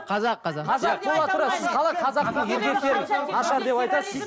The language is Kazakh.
қазақ қазақ қазақ бола тұра сіз қалай қазақтың еркектері нашар деп айтасыз